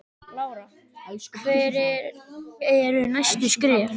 Lára: Hver eru næstu skerf?